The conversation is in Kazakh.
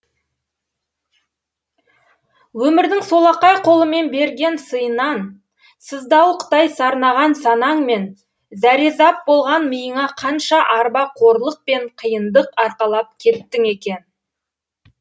өмірдің солақай қолымен берген сыйынан сыздауықтай сарнаған санаң мен зәрезап болған миыңа қанша арба қорлық пен қиындық арқалап кеттің екен